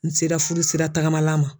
N sera furu sira taagamala ma.